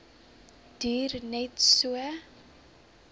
duur net so